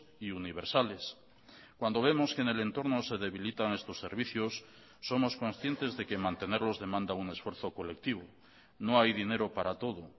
y universales cuando vemos que en el entorno se debilitan estos servicios somos conscientes de que mantenerlos demanda un esfuerzo colectivo no hay dinero para todo